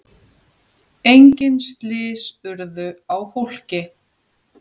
Enginn slys urðu á fólki.